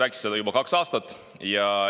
Nad on seda juba kaks aastat rääkinud.